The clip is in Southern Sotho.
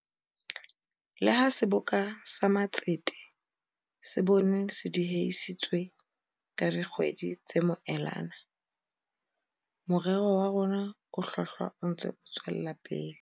Le ha Seboka sa Matsete sa bone se diehisitswe ka di kgwedi tse moelana, morero wa rona o hlwahlwa o ntse o tswela pele.